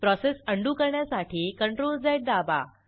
process undo करण्यासाठी CTRLZ दाबा